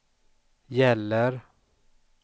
gäller